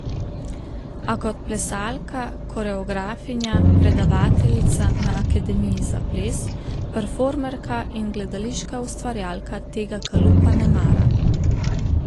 A kot plesalka, koreografinja, predavateljica na Akademiji za ples, performerka in gledališka ustvarjalka tega kalupa ne mara.